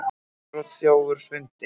Innbrotsþjófur fundinn